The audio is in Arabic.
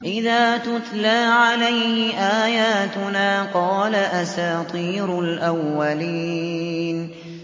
إِذَا تُتْلَىٰ عَلَيْهِ آيَاتُنَا قَالَ أَسَاطِيرُ الْأَوَّلِينَ